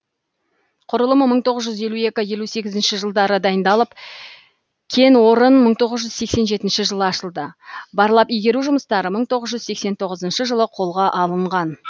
құрылым мың тоғыз жүз елу екінші мың тоғыз жүз елу екінші жылдары дайындалып кенорын мың тоғыз жүз сексен жетінші жылы ашылды барлап игеру жұмыстары мың тоғыз жүз сексен тоғызынщы жылы қолға алынған